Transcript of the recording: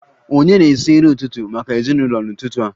Ònye na-esi nri ụtụtụ maka ezinụlọ n'ụtụtụ a?